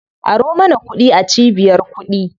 Aro mana kuɗi a cibiyar kuɗi.